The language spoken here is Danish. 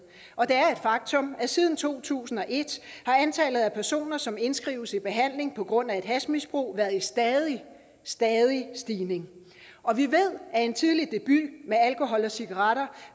og det er et faktum at siden to tusind og et er antallet af personer som indskrives i behandling på grund af et hashmisbrug i stadig stadig stigning og vi ved at en tidlig debut med alkohol og cigaretter